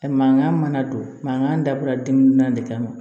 Mankan mana don mankan dabɔra denkun naani de kama